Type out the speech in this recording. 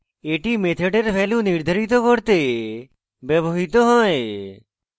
এটি মেথডের value নির্ধারিত করতে ব্যবহৃত হয়